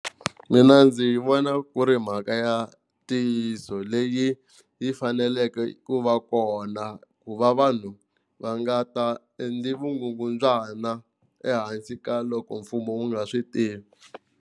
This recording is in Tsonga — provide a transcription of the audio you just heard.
Mina ndzi vona ku ri mhaka ya ntiyiso leyi yi faneleke ku va kona ku va vanhu va nga ta endli vugungundzwana ehansi ka loko mfumo wu nga swi tivi.